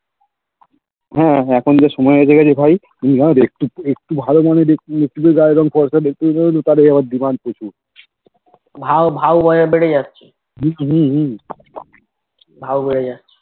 হা এখন সময় যে এসেছে ভাই এখন যে একটু একটু গায়ের রং ফর্সা দেখতে গেলেই আবার Demand বেশি হম হম